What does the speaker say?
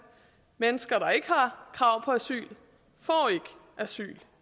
mennesker der ikke har krav på asyl får ikke asyl